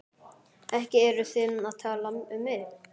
Ekki eruð þið að tala um mig?